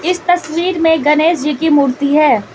इस तस्वीर मे गणेश जी की मूर्ति है।